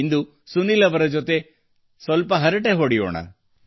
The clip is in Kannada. ಇಂದು ಸುನೀಲ್ ಅವರ ಜೊತೆ ಹರಟೆ ಹೊಡೆಯೋಣ